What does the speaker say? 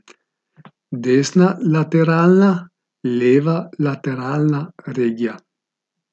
Desna lateralna, leva lateralna regija.